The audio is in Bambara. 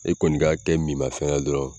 E kɔni k'a kɛ minmafɛn na dɔrɔn